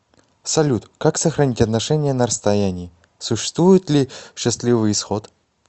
салют как сохранить отношения на расстоянии существует ли счастливый исход